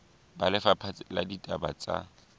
ba lefapha la ditaba tsa